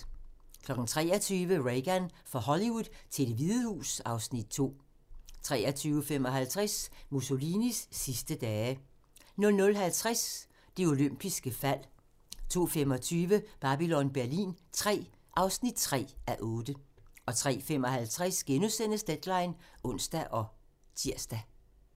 23:00: Reagan – fra Hollywood til Det Hvide Hus (Afs. 2) 23:55: Mussolinis sidste dage 00:50: Det olympiske fald 02:25: Babylon Berlin III (3:8) 03:55: Deadline *(ons og tir)